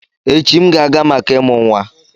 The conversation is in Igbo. Echi, m ga-aga maka ịmụ nwa.